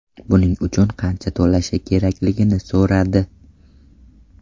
Buning uchun qancha to‘lashi kerakligini so‘radi.